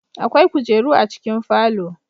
Akwai kujeru a cikin falo